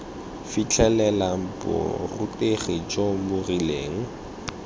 fitlhelela borutegi jo bo rileng